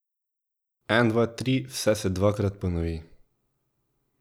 En, dva, tri, vse se dvakrat ponovi.